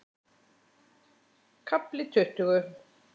KAFLI TUTTUGU